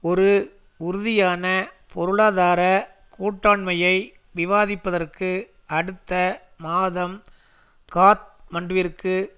ஒரு உறுதியான பொருளாதார கூட்டாண்மையை விவாதிப்பதற்கு அடுத்த மாதம் காத்மண்டுவிற்கு